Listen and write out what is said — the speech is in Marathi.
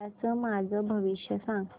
उद्याचं माझं भविष्य सांग